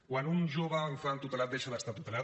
quan un jove o infant tutelat deixa d’estar tutelat